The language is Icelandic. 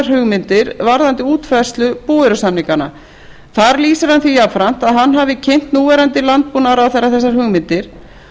hugmyndir varðandi útfærslu búvörusamninganna þar lýsir hann því jafnframt að hann hafi kynnt núverandi landbúnaðarráðherra þessar hugmyndir